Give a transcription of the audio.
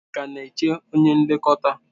Ị ka na-eche onye nlekọta?